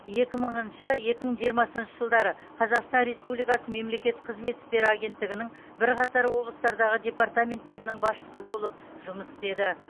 екі мыңыншы екі мың жиырмасыншы жылдары қазақстан республикасы мемлекеттік қызмет істері агенттігінің бірқатар облыстардағы департаменттерінің басшысы болып жұмыс істеді